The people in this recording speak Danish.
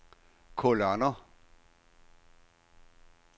kolonner